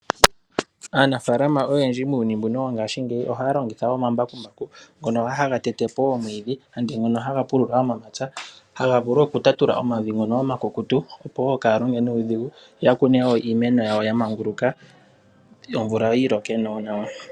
Aanafaalama oyendji muuyuni mbuka wongaashingeyi ohaa longitha woo oma mbakumbaku ngono haga tetepo woo omwiidhi, handi mono haga pulula momapya, haga vulu woo oku tatula omavi ngono oma kukutu opo woo kaya longe nuudhigu yo yakune woo iimeno yawo yamanguluka yo omvula yiloke woo nawa.